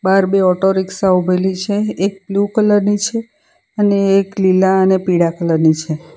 બ્હાર બે auto rickshaw ઉભેલી છે એક બ્લુ કલર ની છે અને એક લીલા અને પીળા કલર ની છે.